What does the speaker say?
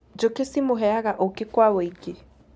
Njũkĩ cimũheaga ũkĩ kwa wũingĩ